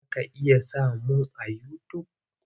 Za ka iya samun a yutub.